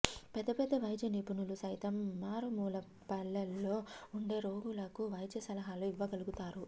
పెద్దపెద్ద వైద్య నిపుణులు సైతం మారుమూల పల్లెల్లో ఉండే రోగులకు వైద్య సలహాలు ఇవ్వగలుగుతారు